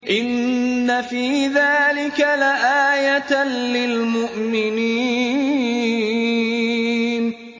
إِنَّ فِي ذَٰلِكَ لَآيَةً لِّلْمُؤْمِنِينَ